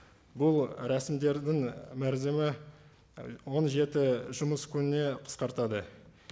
бұл рәсімдердің мерзімі і он жеті жұмыс күніне қысқартады